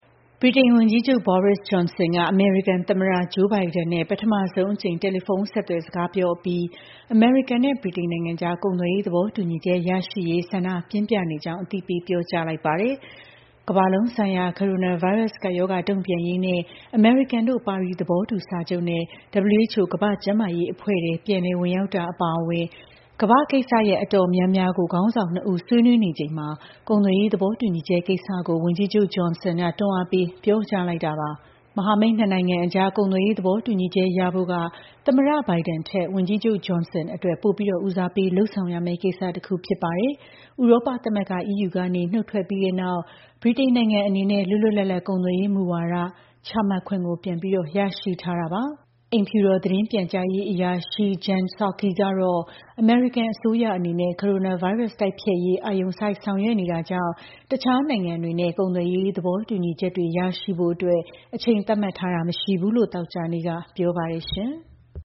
ဗြိတိန်ဝန်ကြီးချုပ် Boris Johnson က အမေရိကန်သမ္မတ Joe Biden နဲ့ ပထမဆုံးအကြိမ် တယ်လီဖုန်းဆက်သွယ် စကားပြောပြီး အမေရိကန်နဲ့ ဗြိတိန်နိုင်ငံအကြား ကုန်သွယ်ရေး သဘောတူညီချက် ရရှိရေး ဆန္ဒပြင်းပြနေကြောင်း အသိပေး ပြောကြားလိုက်ပါတယ်။ ကမ္ဘာလုံးဆိုင်ရာ ကိုရိုနာဗိုင်းရပ်စ် ကပ်ရောဂါ တုံ့ပြန်ရေးနဲ့ အမေရိကန်တို့ ပါရီ သဘောတူစာချုပ်နဲ့ WHO ကမ္ဘာ့ကျန်းမာရေးအဖွဲ့ထဲ ပြန်လည်ဝင်ရောက်တာ အပါအဝင် ကမ္ဘာ့ကိစ္စရပ် တော်တော်များများကို ခေါင်းဆောင်နှစ်ဦး ဆွေးနွေးနေခဲ့သလို ကုန်သွယ်ရေး သဘောတူညီချက်ကိစ္စ ဝန်ကြီးချုပ် Johnson က တွန်းအားပေး ပြောကြားခဲ့တာ ဖြစ်ပါတယ်။ မဟာမိတ်နှစ်နိုင်ငံအကြား ကုန်သွယ်ရေး သဘောတူညီချက် ရဖို့က သမ္မတ Biden ထက် ဝန်ကြီးချုပ် Johnson အတွက် ပိုပြီး ဦးစားပေးလုပ်ရမယ့်ကိစ္စတခု ဖြစ်ပါတယ်။ ဥရောပသမဂ္ဂ (EU) ကနေ နုတ်ထွက်ပြီးတဲ့နောက် ဗြိတိန်နိုင်ငံအနေနဲ့ လွတ်လွတ်လပ်လပ် ကုန်သွယ်ရေးမူဝါဒ ချမှတ်ခွင့် ပြန်လည်ရရှိထားတာပါ။ အိမ်ဖြူတော် သတင်းပြန်ကြားရေးအရာရှိ Jen Psaki ကတော့ အမေရိကန်အစိုးရ အနေနဲ့ ကိုရိုနာဗိုင်းရပ်စ် တိုက်ဖျက်ရေး အာရုံစိုက် ဆောင်ရွက်နေတာကြောင့် တခြားနိုင်ငံတွေနဲ့ ကုန်သွယ်ရေး သဘောတူညီချက်တွေ ရရှိဖို့အတွက် အချိန်သတ်မှတ်ထားတာ မရှိဘူးလို့ သောကြာနေ့က ပြောပါတယ်။